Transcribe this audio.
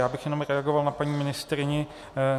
Já bych jenom reagoval na paní ministryni.